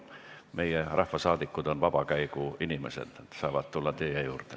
Meie rahvasaadikud on vabakäigu inimesed, nad saavad tulla teie juurde.